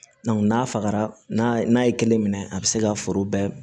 n'a fagara n'a ye kelen minɛ a bi se ka foro bɛɛ